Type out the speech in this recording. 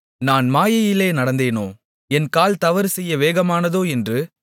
நான் மாயையிலே நடந்தேனோ என் கால் தவறுசெய்ய வேகமானதோ என்று